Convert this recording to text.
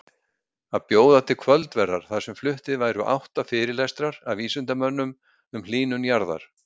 Að bjóða til kvöldverðar þar sem fluttir væru átta fyrirlestrar af vísindamönnum um hlýnun jarðar.